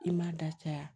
I m'a da caya